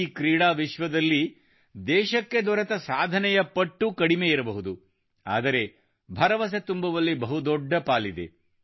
ಈ ಕ್ರೀಡಾ ವಿಶ್ವದಲ್ಲಿ ದೇಶಕ್ಕೆ ದೊರೆತ ಸಾಧನೆಯ ಪಟ್ಟು ಕಡಿಮೆ ಇರಬಹುದು ಆದರೆ ಭರವಸೆ ತುಂಬುವಲ್ಲಿ ಬಹುದೊಡ್ಡ ಪಾಲಿದೆ